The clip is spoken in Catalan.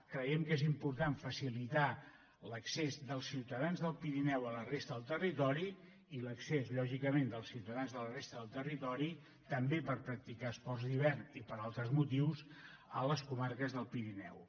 creiem que és important facilitar l’accés dels ciutadans del pirineu a la resta del territori i l’accés lògicament dels ciutadans de la resta del territori també per practicar esports d’hivern i per altres motius a les comarques del pirineu